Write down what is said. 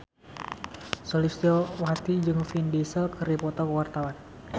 Sulistyowati jeung Vin Diesel keur dipoto ku wartawan